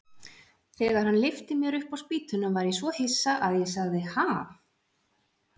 Þegar hann lyfti mér upp á spýtuna var ég svo hissa að ég sagði: Ha?